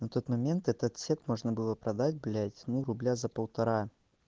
на тот момент этот сет можно было продать блять ну рубля за полтора